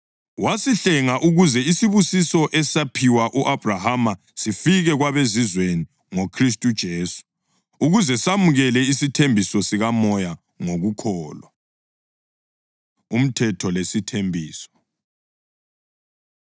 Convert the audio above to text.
Wasihlenga ukuze isibusiso esaphiwa u-Abhrahama sifike kwabeZizweni ngoKhristu uJesu, ukuze samukele isithembiso sikaMoya ngokukholwa. Umthetho Lesithembiso